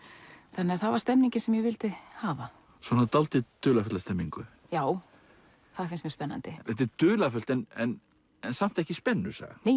þannig að það var stemningin sem ég vildi hafa svona dálítið dularfulla stemningu já það finnst mér spennandi þetta er dularfullt en samt ekki spennusaga